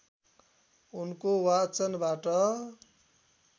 उनको वाचनबाट